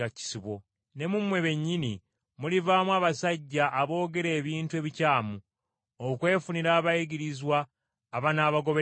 Ne mu mmwe bennyini mulivaamu abasajja aboogera ebintu ebikyamu, okwefunira abayigirizwa abanaabagobereranga.